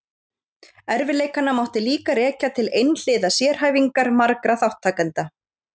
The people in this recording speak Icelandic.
Erfiðleikana mátti líka rekja til einhliða sérhæfingar margra þátttakenda.